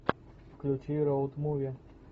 включи роуд муви